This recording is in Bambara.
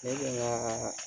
Ne bɛ n ka